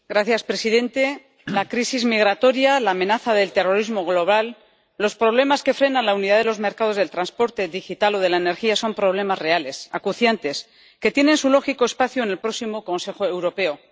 Señor presidente, la crisis migratoria, la amenaza del terrorismo global, los problemas que frenan la unidad de los mercados del transporte digital o de la energía son problemas reales, acuciantes, que tienen su lógico espacio en el próximo Consejo Europeo.